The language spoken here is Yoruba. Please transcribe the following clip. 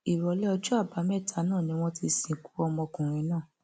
ìrọlẹ ọjọ àbámẹta náà ni wọn ti sìnkú ọmọkùnrin náà